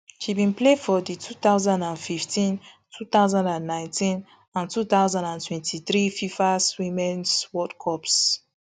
she bin play for di two thousand and fifteen two thousand and nineteen and two thousand and twenty-three fifa womens world cups